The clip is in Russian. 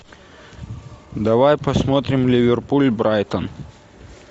давай посмотрим ливерпуль брайтон